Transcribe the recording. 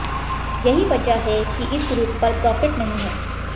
यही वजह है कि इस रूट पर प्रॉफिट नहीं है